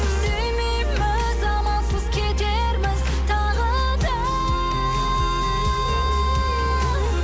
сүймейміз амалсыз кетерміз тағы да